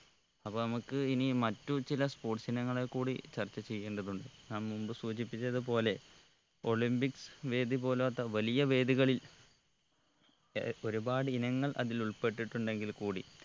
അപ്പൊ നമ്മുക്ക് ഇനി മറ്റു ചില sports ഇനങ്ങളെ കൂടി ചർച്ച ചെയ്യേണ്ടതുണ്ട് ഞാൻ മുമ്പ് സൂചിപ്പിച്ചത് പോലെ olympics വേദി പോലോത്ത വലിയ വേദികളിൽ ഏർ ഒരുപാട് ഇനങ്ങൾ അതിൽ ഉൾപെട്ടിട്ടുണ്ടെങ്കിൽ കൂടി